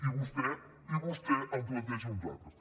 i vostè i vostè en planteja uns altres